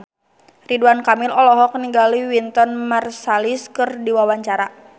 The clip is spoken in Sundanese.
Ridwan Kamil olohok ningali Wynton Marsalis keur diwawancara